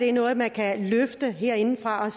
er noget man kan løfte herindefra